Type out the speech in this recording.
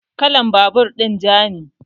Kalan babur din ja ne